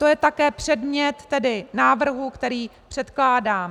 To je také předmět návrhu, který předkládám.